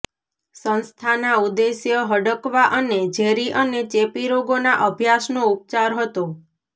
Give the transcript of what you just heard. સંસ્થાના ઉદ્દેશ્ય હડકવા અને ઝેરી અને ચેપી રોગોના અભ્યાસનો ઉપચાર હતો